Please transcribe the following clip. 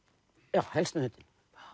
já helst með hundinn